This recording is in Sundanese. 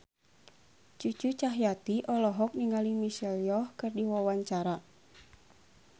Cucu Cahyati olohok ningali Michelle Yeoh keur diwawancara